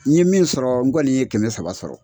N ye min sɔrɔ n kɔni ye kɛmɛ saba sɔrɔ.